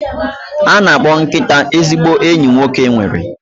A na-akpọ nkịta ezigbo enyi nwoke nwere